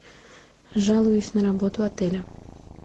жалуюсь на работу отеля